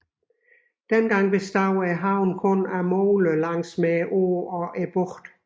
Dengang bestod havnen kun af moler langs åen og bugten